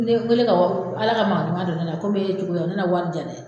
Ne ko le ka wari, Ala ka maa ɲuman don ne la komi e cogoya ne na wari di yan dɛ